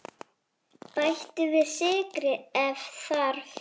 Bættu við sykri ef þarf.